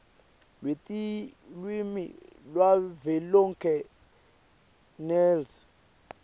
lwetilwimi lwavelonkhe nls